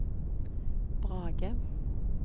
Brage